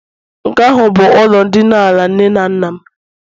nke ahụ bụ ụlọ ndina ala nne na nna mụ.